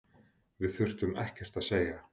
Við þurftum ekkert að segja.